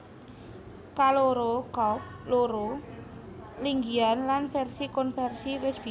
Kaloro coupe loro linggihan lan vèrsi konvèrsi wis bisa